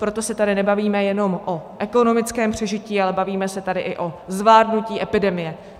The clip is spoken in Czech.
Proto se tady nebavíme jenom o ekonomickém přežití, ale bavíme se tady i o zvládnutí epidemie.